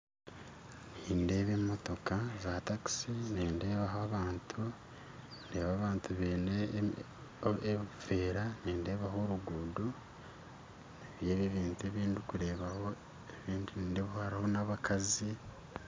Nindeeba emotooka za takisi nindeebaho abantu, ndeeba abantu baine ebiveera nindeebaho oruguuto nibyo ebyo ebintu ebindi kureeba nindeebaho n'abakazi